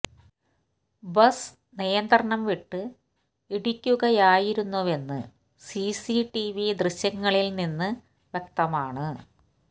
bus നിയന്ത്രണം വിട്ട് ഇടിക്കുകയായിരുന്നുവെന്ന് സിസി ടിവി ദൃശ്യങ്ങളിൽ നിന്ന് വ്യക്തമാണ്